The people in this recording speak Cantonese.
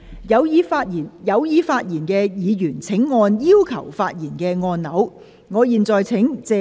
有意發言的議員請按"要求發言"按鈕。